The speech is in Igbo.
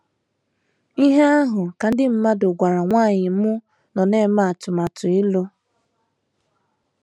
Ihe ahụ ka ndị mmadụ gwara nwanyị m nọ na - eme atụmatụ ịlụ.